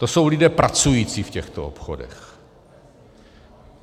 To jsou lidé pracující v těchto obchodech.